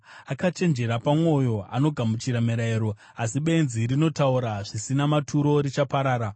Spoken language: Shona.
Akachenjera pamwoyo anogamuchira mirayiro, asi benzi rinotaura zvisina maturo richaparara.